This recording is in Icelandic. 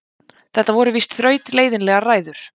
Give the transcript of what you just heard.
Þetta voru víst þrautleiðinlegar ræður.